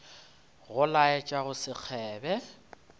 go laetša go se kgebe